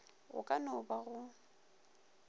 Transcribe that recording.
go ka no ba go